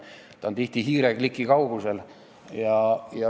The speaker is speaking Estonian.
See on tihti hiirekliki kaugusel.